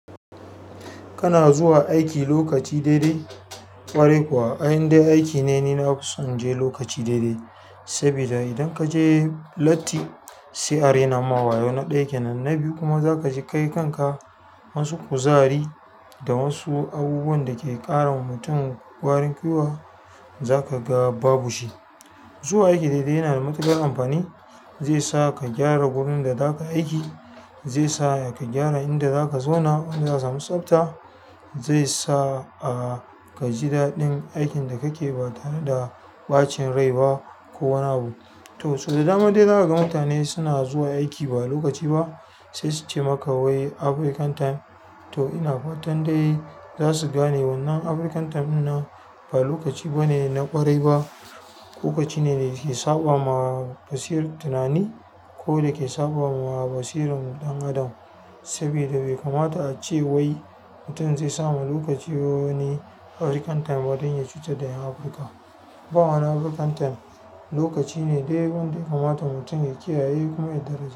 Kana zuwa aiki lokaci daidai? Ƙwarai kuwa, ai in dai aiki ne, ni na fi son in je lokaci daidai. Saboda idan ka je latti sai a raina ma wayo, na ɗaya kenan. Na biyu kuma za ka ji kai kanka. Wasu kuzari da wasu abubuwan da ke ƙara wa mutum ƙwarin gwiwa za ka ga babu shi. Zuwa aiki daidai yana da matuƙar amfani. Zai sa ka gyara wurin da za ka aiki. Zai sa ka gyara inda za ka zauna, za a samu tsabta. Zai sa, ah, ka ji daɗin aikin da kake ba tare da ɓacin rai ba ko wani abu. To, sau da dama dai za ka ga mutane suna zuwa aiki ba lokaci ba, sai su ce maka wai African time. To ina fa tan dai za su gane wannan African time ɗinnan ba lokaci bane na ƙwarai ba. Lokaci ne da ke saɓawa basirar tunani ko da ke saɓawa basirar ɗan adam. Saboda bai kamata a ce wai mutum zai sama lokaci wani African time don ya cutar da ƴan Afirka. Ba wani African time. Lokaci ne dai abin da ya kamata mutum ya kiyaye kuma ya daraja.